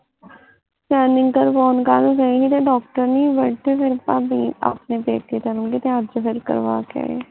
Scanning ਕਰਵਾਉਣ ਕੱਲ੍ ਗਏ ਸੀ ਤੇ doctor ਨੀ ਸੀ ਬੈਠੇਦੇ ਫੇਰ ਭਾਬੀ ਆਪਣੇ ਪੇਕੇ ਚੱਲ ਗਏ ਤੇ ਅੱਜ ਫਿਰ ਕਰਵਾ ਕੇ ਆਏ